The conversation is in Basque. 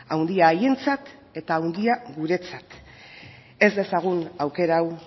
handia haientzat eta handia guretzat ez dezagun aukera hau